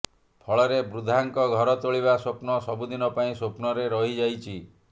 ଫଳରେ ବୃଦ୍ଧାଙ୍କ ଘର ତୋଳିବା ସ୍ୱପ୍ନ ସବୁଦିନ ପାଇଁ ସ୍ୱପ୍ନରେ ରହିଯାଇଛି